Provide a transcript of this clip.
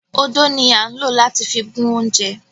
Ódó ni a n lo lati fi gun ounjẹ.